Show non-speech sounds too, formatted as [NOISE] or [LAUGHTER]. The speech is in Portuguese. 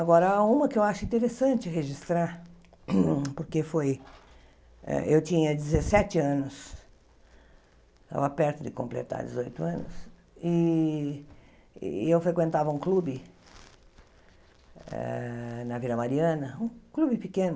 Agora, uma que eu acho interessante registrar, [COUGHS] porque eu tinha dezessete anos, estava perto de completar dezoito anos, e e eu frequentava um clube eh na Vila Mariana, um clube pequeno,